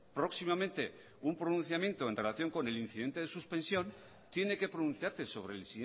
próximamente un pronunciamiento en relación con el incidente de suspensión tiene que pronunciarse sobre el